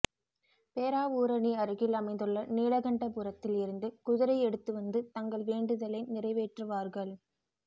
பேராவூரணி அருகில் அமைந்துள்ள நீலகண்டபுரத்தில் இருந்து குதிரை எடுத்து வந்து தங்கள் வேண்டுதலை நிறைவேற்றுவார்கள்